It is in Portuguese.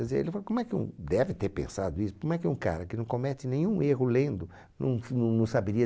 Quer dizer, ele vai, como é que um, deve ter pensado isso, como é que um cara que não comete nenhum erro lendo, não não não saberia...